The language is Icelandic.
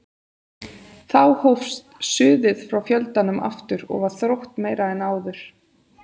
Þá hófst suðið frá fjöldanum aftur og var þróttmeira en áður.